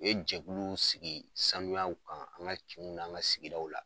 U ye jɛkuluw sigi sanuyaw kan, an ka kinw n'an ka sigidaw la.